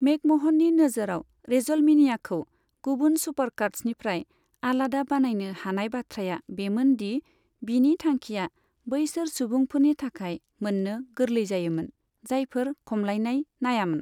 मेकम'हननि नोजोराव, रेसलमेनियाखौ गुबुन सुपारकार्ड्सनिफ्राय आलादा बानायनो हानाय बाथ्राया बेमोन दि बिनि थांखिया बैसोर सुबुंफोरनि थाखाय मोन्नो गोरलै जायोमोन, जायफोरा खमलायनाय नायामोन।